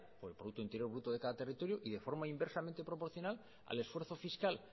o del producto interior bruto de cada territorio y de forma inversamente proporcional al esfuerzo fiscal